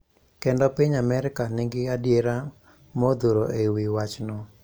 Kendo piny Amerka nigi adiera modhuro e wi wachno